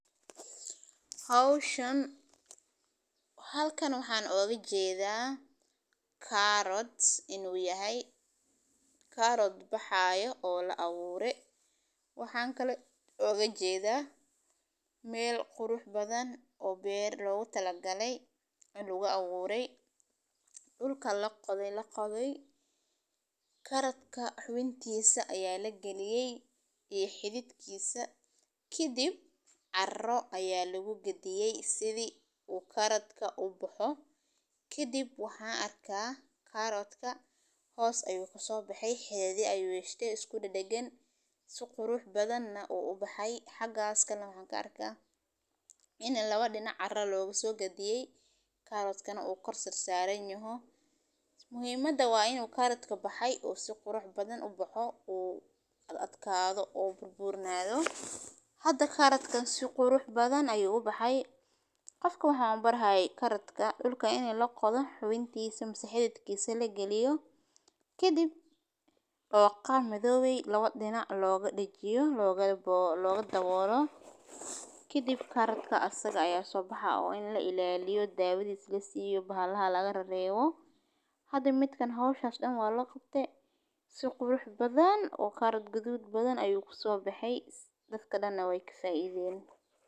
Hawshan. Halkan waxaan ogga jeedaa kaarood inuu yahay kaarood baxaaya oo la awoore. Waxaan kala ogga jeedaa meel qurux badan oo beer loogu talagaleysan adoo lagu awooray dhulka la qadayla qaday. Karadka xubintiisa ayaa la geliyay iyo xidigkiisa. Kiidib carro ayaa lagu gadiyay sidii uu karadka u baxo. Kiidib waxaa arkay kaaradka hoos ayuu ka soo baxay. Heedi ayuu yeesheen isku dhadhagay si qurux badan ah uu u baxay. Xagaaska lagu arka inaguna lawaadhina carra loogu gadiyay kaaradkana oo korsig saaran yahaa. Muhiimada waa in uu karadka baxay oo si qurux badan u baxo uu ad adkaado oo burbuurnaado. Hadda karadkan si qurux badan ayuu u baxay. Qofka waxaan u baahan karadka dhulka inay la qado xubintiisa. Si xidigtiisa la geliyo. Kiidib tooqan midowgay labaad dhinac looga dhijiyo looga looga daboolo. Kiidib karadka asag ayaa soo baxa oo in la ilaaliyo daawadyis leysii u baahan laga reebo. Hadda midkan hoos u dhacdayn waa la qabtay si qurux badan oo karad guduud badan ayuu ku soo baxay dadka danbe way kusa iideen.